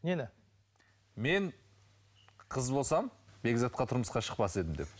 нені мен қыз болсам бекзатқа тұрмысқа шықпас едім деп